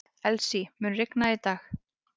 Elsie, mun rigna í dag?